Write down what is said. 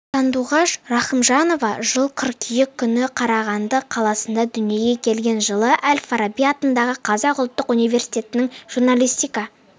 сандуғаш рахымжанова жылы қыркүйек күні қарағанды қаласында дүниеге келген жылы әл-фараби атындағы қазақ ұлттық университетінің журналистика